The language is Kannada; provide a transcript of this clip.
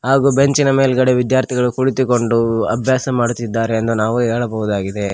ಹಾಗು ಬೆಂಚಿನ ಮೇಲ್ಗಡೆ ವಿದ್ಯಾರ್ಥಿಗಳು ಕುಳಿತುಕೊಂಡು ಅಭ್ಯಾಸ ಮಾಡುತ್ತಿದ್ದಾರೆ ಎಂದು ನಾವು ಹೇಳಬಹುದಾಗಿದೆ.